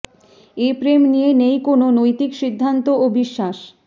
এ প্রেম নিয়ে নেই কোনও নৈতিক সিদ্ধান্ত ও বিশ্বাস